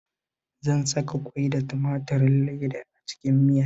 Zan saka ƙwai da tumaturin leda a cikin miyar